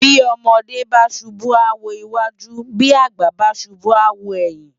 Bi òmòdè bá súbú á wó iwájú bi ágbà bá súbù á wó èyin